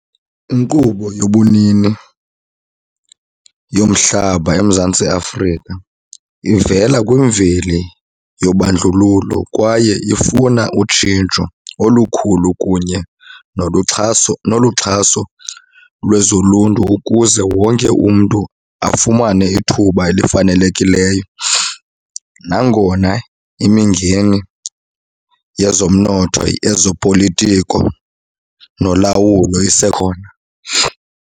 Inkqubo yobunini yomhlaba eMzantsi Afrika ivela kwimveli yobandlululo kwaye ifuna utshintsho olukhulu kunye noluxhaso, noluxhaso lwezoluntu ukuze wonke umntu afumane ithuba elifanelekileyo nangona imingeni yezomnotho, ezopolitiko nolawulo isekhona.